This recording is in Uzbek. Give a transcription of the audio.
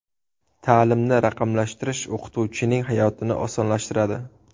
Ta’limni raqamlashtirish o‘qituvchining hayotini osonlashtiradi.